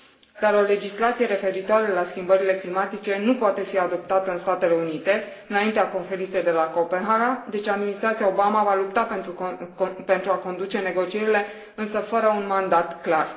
Dar o legislație referitoare la schimbările climatice nu poate fi adoptată în Statele Unite înaintea Conferinței de la Copenhaga, deci administrația Obama va lupta pentru a conduce negocierile, însă fără un mandat clar.